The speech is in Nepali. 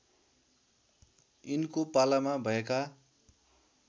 यिनको पालामा भएका